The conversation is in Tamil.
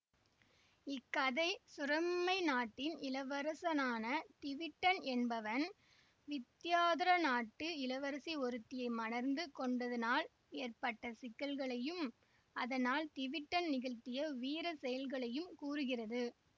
இக்கதை சுரமை நாட்டின் இளவரசனான திவிட்டன் என்பவன் வித்தியாதர நாட்டு இளவரசி ஒருத்தியை மணந்து கொண்டதனால் ஏற்பட்ட சிக்கல்களையும் அதனால் திவிட்டன் நிகழ்த்திய வீர செயல்களையும் கூறுகிறது